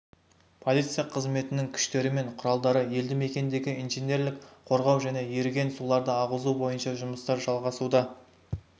полиция қызметінің күштері мен құралдары елді-мекендегі инженерлік қорғау және еріген суларды ағызу бойынша жұмыстар жалғасуда